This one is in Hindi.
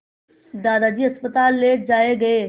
दादाजी अस्पताल ले जाए गए